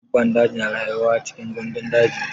Dabban daji na rayuwa cikin gandun daji.